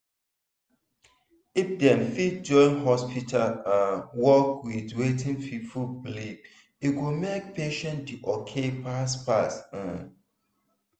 if dem fit join hospital um work with wetin people believe e go make patient dey ok fast-fast. um